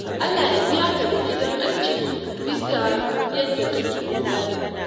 Allah ya biya ka da gidan aljanna bisa yadda kake kula da mu.